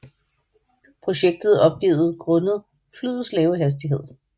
Projektet opgivet grundet flyets lave hastighed